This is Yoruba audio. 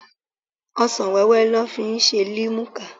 Ọsan-wẹ́wẹ́ lọ́ fi ṣe limuka.